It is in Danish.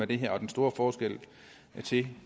det her og den store forskel til